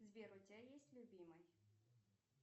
сбер у тебя есть любимый